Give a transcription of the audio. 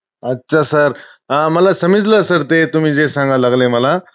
अच्छा! sir, मला समजलं sir ते तुम्ही जे सांगाय लागलंय मला.